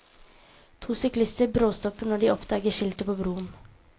To syklister bråstopper når de oppdager skiltet på broen.